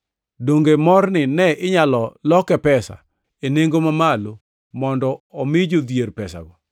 Donge morni ne inyalo loke pesa e nengo mamalo mondo omi jodhier pesago.”